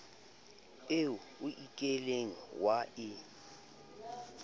eo o kileng wa e